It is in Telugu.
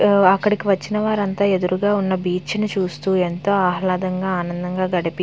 అక్కడికి వచ్చిన వాళ్ళు అందరూ బీచ్ ని చూస్తూ ఎంతో ఆహ్లాదంగా ఆనందంగా గడిపి --